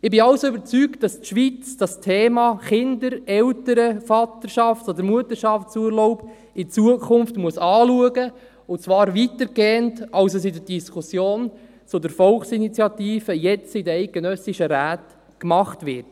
– Ich bin also überzeugt, dass die Schweiz das Thema Kinder-, Eltern-, Vaterschafts- oder Mutterschaftsurlaub in Zukunft anschauen muss, und zwar weitergehend, als es jetzt in der Diskussion zur Volksinitiative in den eidgenössischen Räten gemacht wird.